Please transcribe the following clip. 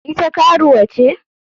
Ita karuwa ce?